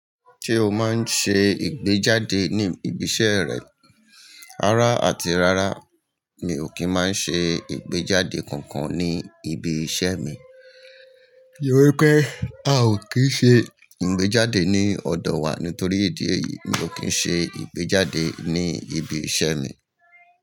Ṣé o máa ń ṣe ìgbéjáde ní ibi iṣẹ́ rẹ? Ara àti rara mi ò kí ń má ṣe ìgbéjáde kankan ní ibi iṣẹ́ mi. Tọrí pé a ò kí ń ṣe ìgbéjáde ní ọ̀dọ̀ wa nítorí ìdí èyí mi ò kí ń ṣe ìgbéjáde ní ibi iṣẹ́ mi.